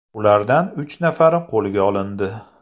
Ulardan uch nafari qo‘lga olindi.